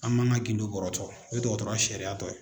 An man ka gindo bɔrɔtɔ o ye dɔgɔtɔrɔya sariya dɔ ye.